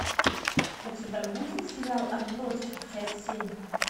у тебя будет сериал отбросы часть семь